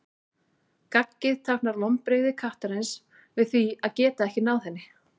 Gaggið táknar vonbrigði kattarins við því að geta ekki náð henni.